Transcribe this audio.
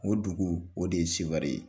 O dugu o de ye Seware ye